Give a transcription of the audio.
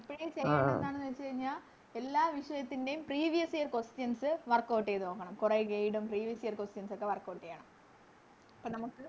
ഇപ്പഴേ ചെയ്യണ്ടേ എന്താണെന്ന് വെച്ച് കഴിഞ്ഞാ എല്ലാ വിഷയത്തിൻറെയും Previous year questions ചെയ്ത നോക്കണം കൊറേ Guide ഉം Previous year questions ഒക്കെ Workout ചെയ്യണം അപ്പൊ നമുക്